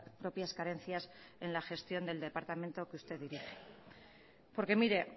propias carencias en la gestión del departamento que usted dirige